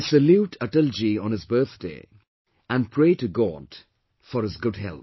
I salute Atalji on his birthday and pray to God for his good health